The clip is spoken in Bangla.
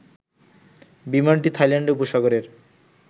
বিমানটি থাইল্যান্ড উপসাগরে